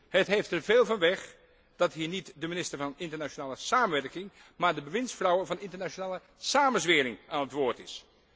Het heeft er veel van weg dat hier niet de minister van Internationale Samenwerking, maar de bewindsvrouw van Internationale Samenzwering aan het woord is.